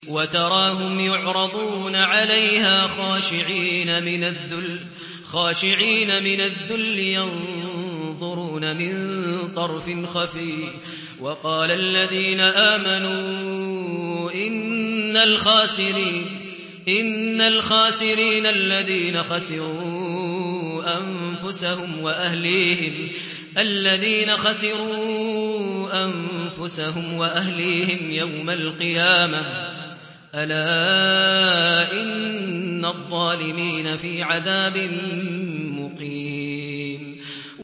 وَتَرَاهُمْ يُعْرَضُونَ عَلَيْهَا خَاشِعِينَ مِنَ الذُّلِّ يَنظُرُونَ مِن طَرْفٍ خَفِيٍّ ۗ وَقَالَ الَّذِينَ آمَنُوا إِنَّ الْخَاسِرِينَ الَّذِينَ خَسِرُوا أَنفُسَهُمْ وَأَهْلِيهِمْ يَوْمَ الْقِيَامَةِ ۗ أَلَا إِنَّ الظَّالِمِينَ فِي عَذَابٍ مُّقِيمٍ